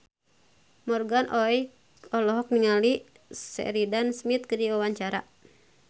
Morgan Oey olohok ningali Sheridan Smith keur diwawancara